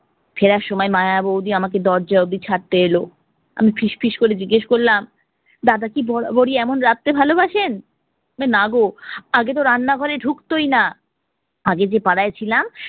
ফেরার সময় ময় বৌদি আমাকে দরজা অব্দি ছাড়তে এলো, আমি ফিশ ফিশ করে জিজ্ঞেস করলাম দাদা কি বরাবরই এমন রাঁধতে ভালোবাসেন? নাগো আগেতো রান্না ঘরে ঢুকতোই না, আগে যে পাড়ায় ছিলাম